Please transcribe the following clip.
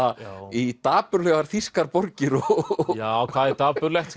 í dapurlegar þýskar borgir já hvað er dapurlegt